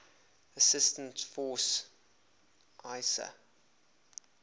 assistance force isaf